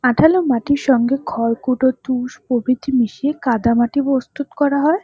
আঠালো মাটির সঙ্গে খরকুটো তুষ প্রভৃতি মিশিয়ে কাদামাটি প্রস্তুত করা হয়।